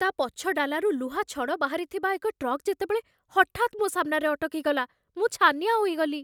ତା' ପଛ ଡାଲାରୁ ଲୁହାଛଡ଼ ବାହାରିଥିବା ଏକ ଟ୍ରକ୍ ଯେତେବେଳେ ହଠାତ୍ ମୋ ସାମ୍ନାରେ ଅଟକିଗଲା, ମୁଁ ଛାନିଆ ହୋଇଗଲି।